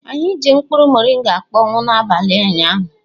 Anyị ji mkpụrụ moringa akpọnwụwo n'abalị ụnyaahụ.